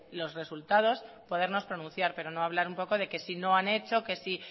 los resultados podernos pronunciar pero no hablar un poco de que si no han hecho que si